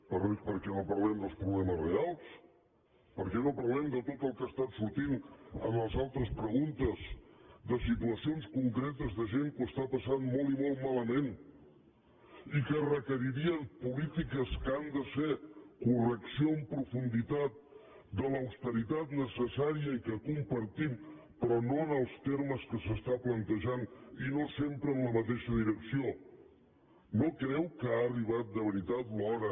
per què no parlem dels problemes reals per què no parlem de tot el que ha estat sortint en les altres preguntes de situacions concretes de gent que ho està passant molt i molt malament i que requeririen polítiques que han de ser correcció amb profunditat de l’austeritat necessària i que compartim però no en els termes en què s’està plantejant i no sempre en la mateixa direcció no creu que ha arribat de veritat l’hora